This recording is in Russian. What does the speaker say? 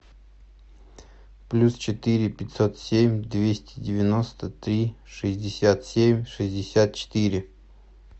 плюс четыре пятьсот семь двести девяносто три шестьдесят семь шестьдесят четыре